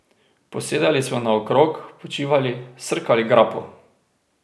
Posedali smo naokrog, počivali, srkali grappo.